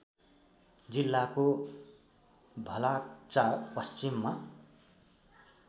जिल्लाको भलाक्चा पश्चिममा